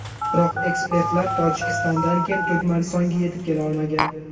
Biroq ekspertlar Tojikistondan keyin Turkmanistonga yetib kela olmagan.